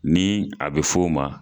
Ni a bɛ f'o ma